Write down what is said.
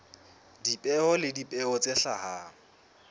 dipeo le dipeo tse hlahang